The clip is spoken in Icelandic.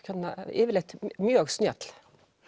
yfirleitt mjög snjöll